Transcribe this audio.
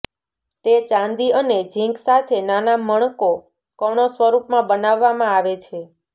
તે ચાંદી અને ઝીંક સાથે નાના મણકો કણો સ્વરૂપમાં બનાવવામાં આવે છે